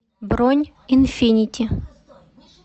бронь инфинити